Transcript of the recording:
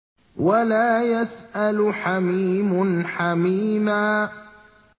وَلَا يَسْأَلُ حَمِيمٌ حَمِيمًا